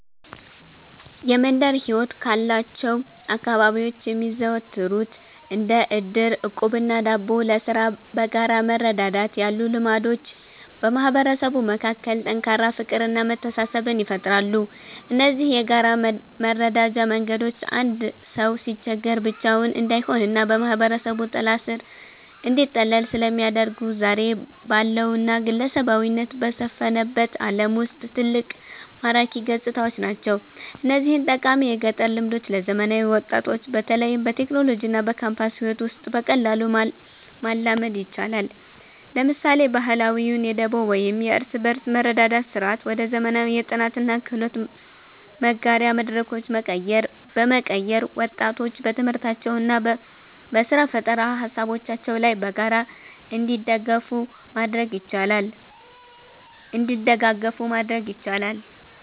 የመንደር ሕይወት ካሏቸው አካባቢዎች የሚዘወተሩት እንደ ዕድር፣ ዕቁብና ደቦ (ለሥራ በጋራ መረዳዳት) ያሉ ልማዶች በማህበረሰቡ መካከል ጠንካራ ፍቅርና መተሳሰብን ይፈጥራሉ። እነዚህ የጋራ መረዳጃ መንገዶች አንድ ሰው ሲቸገር ብቻውን እንዳይሆንና በማህበረሰቡ ጥላ ሥር እንዲጠለል ስለሚያደርጉ፣ ዛሬ ባለውና ግለሰባዊነት በሰፈነበት ዓለም ውስጥ ትልቅ ማራኪ ገጽታዎች ናቸው። እነዚህን ጠቃሚ የገጠር ልማዶች ለዘመናዊ ወጣቶች በተለይም በቴክኖሎጂና በካምፓስ ሕይወት ውስጥ በቀላሉ ማላመድ ይቻላል። ለምሳሌ፣ ባህላዊውን የደቦ ወይም የእርስ በርስ መረዳዳት ሥርዓት ወደ ዘመናዊ የጥናትና የክህሎት መጋሪያ መድረኮች በመቀየር፣ ወጣቶች በትምህርታቸውና በሥራ ፈጠራ ሃሳቦቻቸው ላይ በጋራ እንዲደጋገፉ ማድረግ ይቻላል።